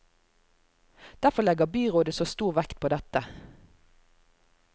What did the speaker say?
Derfor legger byrådet så stor vekt på dette.